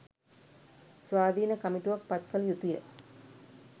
ස්වාධින කමිටුවක් පත් කල යුතුය